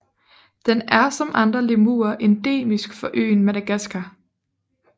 Den er som andre lemurer endemisk for øen Madagaskar